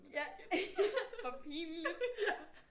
Ja hvor pinligt